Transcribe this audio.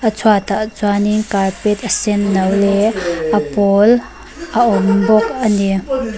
a chhuatah chuanin carpet a senno leh a pâwl a awm bawk a ni.